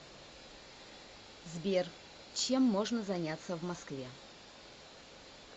сбер чем можно заняться в москве